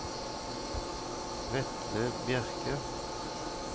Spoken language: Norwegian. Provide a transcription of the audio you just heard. Vetle Bjerke